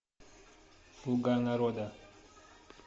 слуга народа